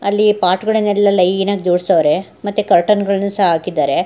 ಅಲ್ಲಿ ಪಾಟ್ ಗಳನ್ನೆಲ್ಲ ಲೈನ್ ಆಗಿ ಜೋಡ್ಸವವ್ರೇ ಮತ್ತೆ ಕರ್ಟನ್ ಗಳ್ನು ಸಹ ಹಾಕಿದ್ದಾರೆ.